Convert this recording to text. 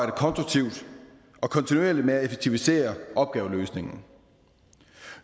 konstruktivt og kontinuerligt med at effektivisere opgaveløsningen